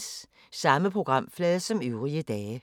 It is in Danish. Samme programflade som øvrige dage